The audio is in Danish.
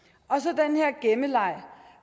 af gemmeleg